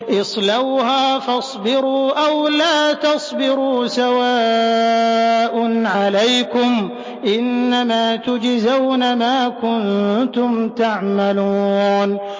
اصْلَوْهَا فَاصْبِرُوا أَوْ لَا تَصْبِرُوا سَوَاءٌ عَلَيْكُمْ ۖ إِنَّمَا تُجْزَوْنَ مَا كُنتُمْ تَعْمَلُونَ